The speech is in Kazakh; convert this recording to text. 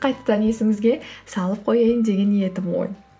қайтадан есіңізге салып қояйын деген едім ғой